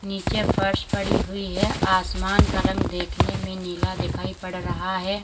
नीचे फर्श पड़ी हुई है आसमान का रंग देखने में नीला दिखाई पड़ रहा है।